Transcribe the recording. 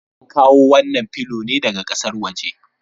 An kawo wannan filo ne daga ƙasar waje.